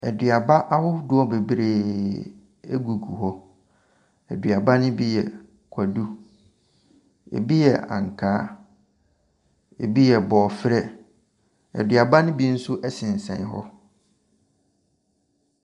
Aduaba adodoɔ bebree gugu hɔ, aduaba ne bi yɛ kwadu, bi yɛ ankaa, bi borɔfrɛ. Aduaba ne bi nso sensɛn hɔ.